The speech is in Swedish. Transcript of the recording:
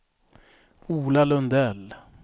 Ola Lundell